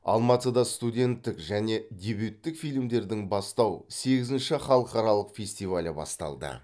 алматыда студенттік және дебюттік фильмдердің бастау сегізінші халықаралық фестивалі басталды